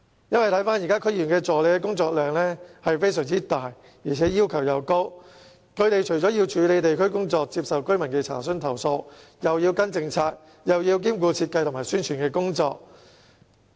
這是由於現時區議員助理的工作量大，而且要求高，他們既要處理地區工作、接受居民的查詢和投訴，又要跟進政策，也要兼顧設計和宣傳的工作。